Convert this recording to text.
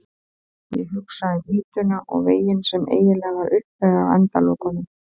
Ég hugsa um ýtuna og veginn sem eiginlega var upphafið að endalokunum.